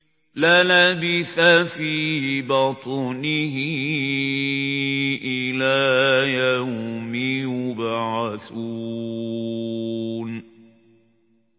لَلَبِثَ فِي بَطْنِهِ إِلَىٰ يَوْمِ يُبْعَثُونَ